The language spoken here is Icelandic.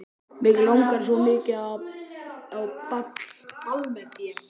Mig langar svo mikið á ball með þér.